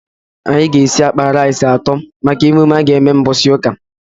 Anyị ga esi akpa rice atọ maka emume aga eme mgbọsị ụka